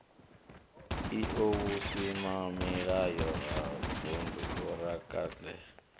io vhusimamilayo ha vundu vhoraakademi